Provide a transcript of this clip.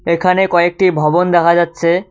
এখানে কয়েকটি ভবন দেখা যাচ্ছে।